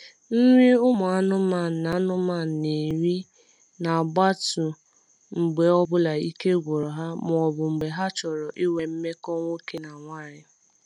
Nri ụmụ anụmanụ na anụmanụ na eri na gbatu mgbe ọbụla ike gwụru ha ma ọbụ mgbe ha chọrọ ịnwe mmekọ nwoke na nwanyi